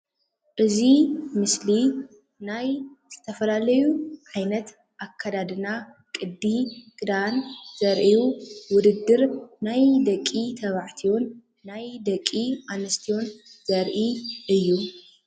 እዚ ምስሊ ናይ ዝተፈላለዩ ዓይነት ኣከዳድና ቅዲ ክዳን ዘርኢዩ ውድድር ናይ ደቂ ተባዕትዮን ናይ ደቂ ኣንስትዮን ዘርኢ እዩ፡፡